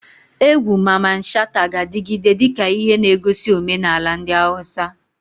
Egwu Mamman Shata ga-adigide dika ihe negosi omenala ndi Hausa.